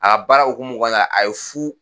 A ka baara hukumu kɔnɔna la, a ye fu